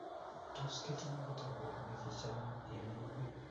Tos, kitinye kitabut negichame imining?